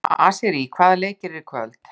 Asírí, hvaða leikir eru í kvöld?